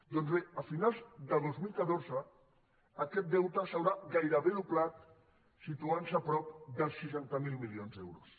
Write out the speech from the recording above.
doncs bé a finals de dos mil catorze aquest deute s’haurà gairebé doblat i s’haurà situat a prop dels seixanta miler milions d’euros